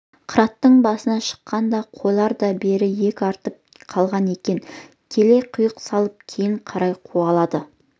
қыраттың басына шыққанда қойлар да бері иек артып қалған екен келе қиқу салып кейін қарай қуалады